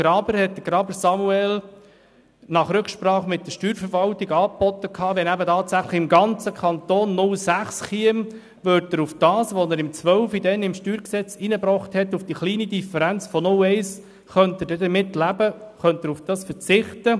Samuel Graber hatte nach Rücksprache mit der Steuerverwaltung angeboten, wenn tatsächlich im ganzen Kanton eine Gewerbegrenze von 0,6 SAK eingeführt würde, wäre er bereit, auf die kleine Differenz von 0,1 zu verzichten, die er 2012 ins StG eingebracht hatte.